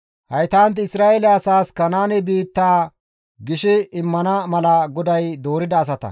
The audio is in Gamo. Haytanti Isra7eele asaas Kanaanen biittaa gishi immana mala GODAY doorida asata.